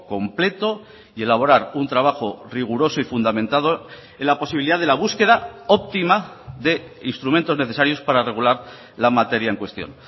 completo y elaborar un trabajo riguroso y fundamentado en la posibilidad de la búsqueda óptima de instrumentos necesarios para regular la materia en cuestión